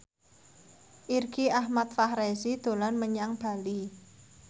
Irgi Ahmad Fahrezi dolan menyang Bali